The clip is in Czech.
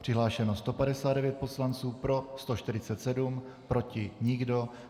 Přihlášeno 159 poslanců, pro 147, proti nikdo.